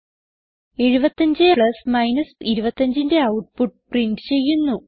75 plus 25ന്റെ output print ചെയ്യുന്നു